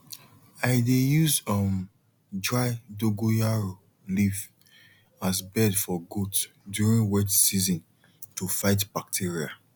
i dey use um dry dogonyaro leaf as bed for goat during wet season to fight bacteria